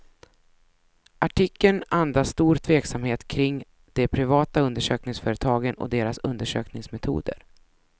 Artikeln andas stor tveksamhet kring de privata undersökningsföretagen och deras undersökningsmetoder.